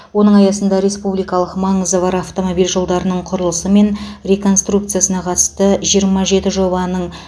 оның аясында республикалық маңызы бар автомобиль жолдарының құрылысы мен реконструкциясына қатысты жиырма жеті жобаның